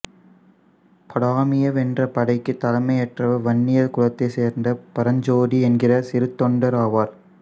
பாதாமியை வென்ற படைக்கு தலைமையேற்றவர் வன்னியர் குலத்தைச் சேர்ந்த பரஞ்சோதி என்கிற சிறுதொண்டர் ஆவார்